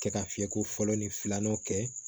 Kɛ ka fiyɛ ko fɔlɔ ni filanan kɛ